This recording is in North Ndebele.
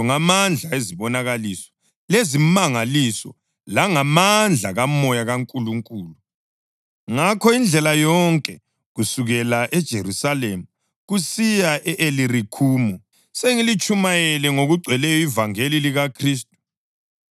ngamandla ezibonakaliso lezimangaliso, langamandla kaMoya kaNkulunkulu. Ngakho indlela yonke kusukela eJerusalema kusiya e-Ilirikhumu, sengilitshumayele ngokugcweleyo ivangeli likaKhristu.